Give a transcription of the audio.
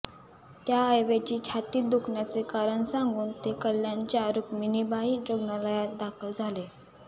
त्याऐवजी छातीत दुखण्याचे कारण सांगून ते कल्याणच्या रुक्मिणीबाई रुग्णालयात दाखल झाले